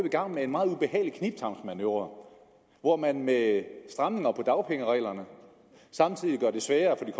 i gang med en meget ubehagelig knibtangsmanøvre hvor man med stramninger af dagpengereglerne samtidig gør det sværere for de